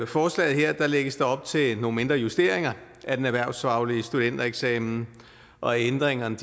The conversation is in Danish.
forslaget her lægges der op til nogle mindre justeringer af den erhvervsfaglige studentereksamen og ændringerne